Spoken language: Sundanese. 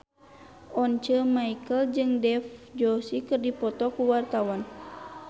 Once Mekel jeung Dev Joshi keur dipoto ku wartawan